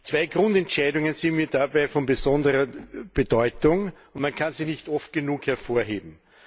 Zwei Grundentscheidungen sind für mich dabei von besonderer Bedeutung, und man kann sie nicht oft genug hervorheben.